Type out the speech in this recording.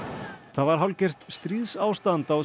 það var hálfgert stríðsástand á